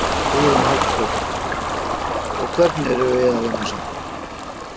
Hugrún Halldórsdóttir: Og hvernig er að vinna saman?